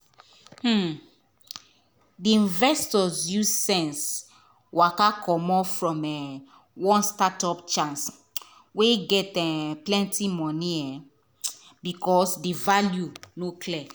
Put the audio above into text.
um di investor use sense waka commot from one startup chance wey get um plenty money um because di value no clear.